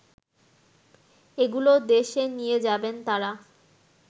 এগুলো দেশে নিয়ে যাবেন তাঁরা